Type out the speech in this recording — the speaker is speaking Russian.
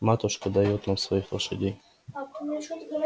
матушка даёт нам своих лошадей